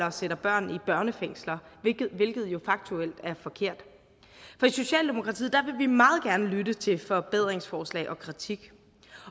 og sætter børn i børnefængsler hvilket jo faktuelt er forkert i socialdemokratiet vil vi meget gerne lytte til forbedringsforslag og kritik